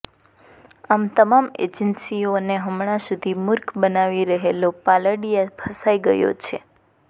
આમ તમામ એજન્સીઓને હમણાં સુધી મુર્ખ બનાવી રહેલો પાલડીયા ફસાઈ ગયો છે